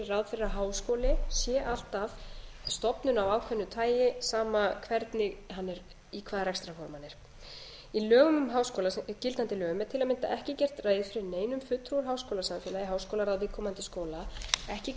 að háskóli sé alltaf stofnun af ákveðnu tagi sama í hvaða rekstrarformi hann er í gildandi lögum um háskóla er til að mynda ekki gert neinum fulltrúa úr háskólasamfélagi í háskólaráði viðkomandi skóla ekki kveðið á